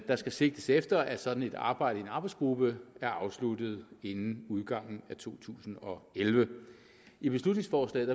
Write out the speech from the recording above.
der skal sigtes efter at sådan et arbejde i en arbejdsgruppe er afsluttet inden udgangen af to tusind og elleve i beslutningsforslaget